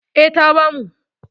E, ta bamu.